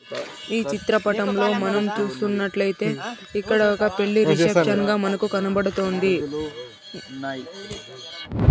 ఈ చిత్రపటంలో మనం చూస్తున్నట్లయితే ఇక్కడ ఒక పెళ్లి రిసెప్షన్ గా మనకు కనబడుతోంది.